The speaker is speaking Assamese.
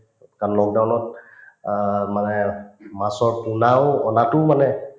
কাৰণ lockdown ত অ মানে মাছৰ পোনাও অনাতোও মানে